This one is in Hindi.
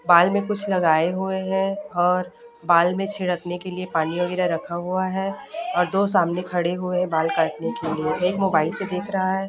बाल में कुछ लगाए हुए हैं और बाल में छिड़कने के लिए पानी वगैरह रखा हुआ है और दो सामने खड़े हुए बाल काटने के लिए एक मोबाइल से देख रहा है।